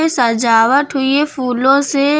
सजावट हुई है फूलों से।